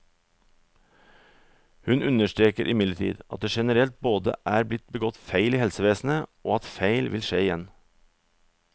Hun understreker imidlertid at det generelt både er blitt begått feil i helsevesenet, og at feil vil skje igjen.